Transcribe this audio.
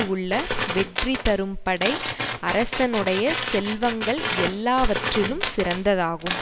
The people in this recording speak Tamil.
உள்ள வெற்றி தரும் படை அரசனுடைய செல்வங்கள் எல்லாவற்றிலும் சிறந்ததாகும்